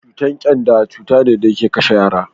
cutar kyanda cuta ne da yake kashe yara da